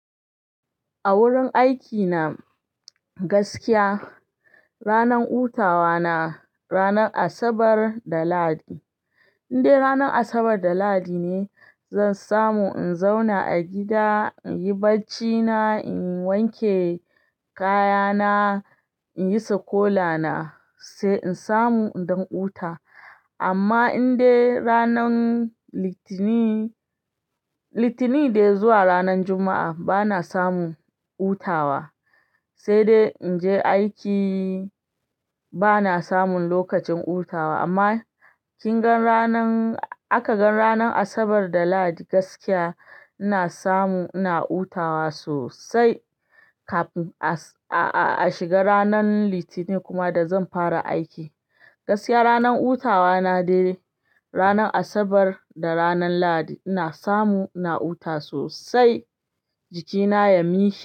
A wurin aiki na gaskiya ranar hutawa na ranar Asabar da Lahadi. In dai ranar Asabar da Lahadi ne zan samu in zauna a gida, in yi barcina, in wan ke kayana, in yi sikola na sai in samu in dan huta. Amma indai ranan Litinin dai zuwa ranan Juma'a ba na samu hutawa, sai dai in je aiki ba na samun lokacin hutawa. Amma kin gan ranan-- aka gan ranan Asabar da Lahadi gaskiya ina samu ina hutawa sosai kafin a shi ga ranan Litinin kuma da zan fara aiki. Gaskiya ranar hutawa na dai ranar Asabar da ranan Lahadi ina samu ina hutawa sosai jikina ya mishi.